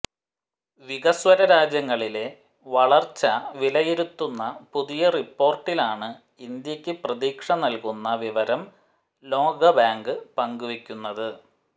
വികസ്വര രാജ്യങ്ങളിലെ വളർച്ച വിലയിരുത്തുന്ന പുതിയ റിപ്പോർട്ടിലാണ് ഇന്ത്യയ്ക്ക് പ്രതീക്ഷ നൽകുന്ന വിവരം ലോകബാങ്ക് പങ്കുവയ്ക്കുന്നത്